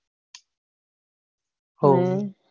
હું